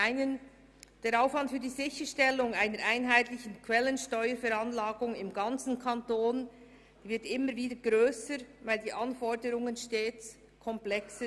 Der Aufwand für die Sicherstellung einer einheitlichen Quellensteuerveranlagung im ganzen Kanton wird immer grösser, weil die Komplexität der Anforderungen stetig zunimmt.